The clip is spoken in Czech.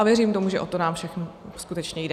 A věřím tomu, že o to nám všem skutečně jde.